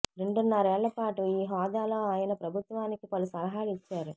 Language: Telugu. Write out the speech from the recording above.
రెండున్నరేళ్ల పాటు ఈ హోదాలో ఆయన ప్రభుత్వానికి పలు సలహాలు ఇచ్చారు